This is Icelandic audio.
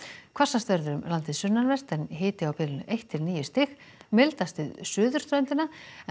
hvassast verður um landið sunnanvert hiti á bilinu eitt til níu stig mildast við suðurströndina